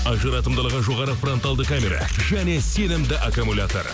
ажыратымдылығы жоғары фронталды камера және сенімді аккумулятор